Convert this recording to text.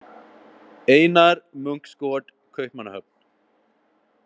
Ejnar Munksgaaard, Kaupmannahöfn.